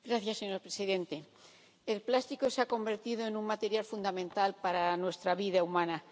Señor presidente, el plástico se ha convertido en un material fundamental para nuestra vida humana.